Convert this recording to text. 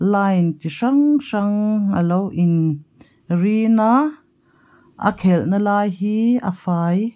line chi hrang hrang a lo in rin a a khelna lai hi a fai--